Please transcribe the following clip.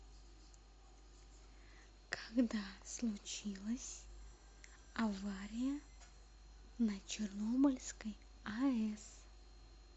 когда случилась авария на чернобыльской аэс